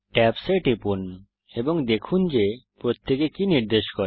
tabs এ টিপুন এবং দেখুন যে প্রত্যেকে কি নির্দেশ করে